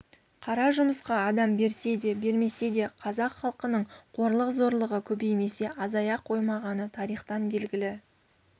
қара жұмысқа адам берсе де бермесе де қазақ халқының қорлық-зорлығы көбеймесе азая қоймағаны тарихтан белгілі